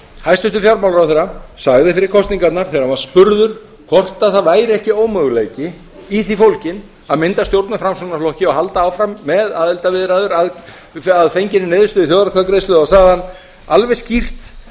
hæstvirtur fjármálaráðherra sagði fyrir kosningarnar þegar hann var spurður hvort það væri ekki ómöguleiki í því fólginn að mynda stjórn með framsóknarflokki og halda áfram með aðildarviðræður að fenginni niðurstöðu í þjóðaratkvæðagreiðslu þá sagði hann alveg skýrt